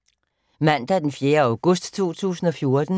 Mandag d. 4. august 2014